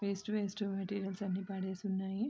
Waste waste materials అన్ని పడేసున్నాయి.